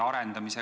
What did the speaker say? Palun!